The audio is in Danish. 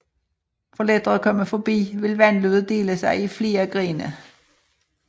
For lettere at komme forbi vil vandløbet dele sig i flere grene